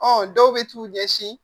Ɔ dɔw bɛ t'u ɲɛsin